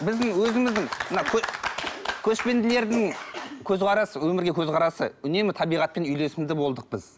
біздің өзіміздің мына көшпенділердің көзқарасы өмірге көзқарасы үнемі табиғатпен үйлесімді болдық біз